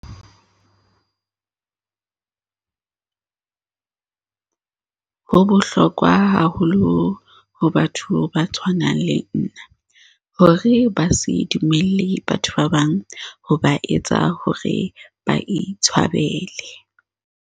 "Ho bohlokwa haholo ho batho ba tshwanang le nna hore ba se dumelle batho ba bang ho ba etsa hore ba itshwabele."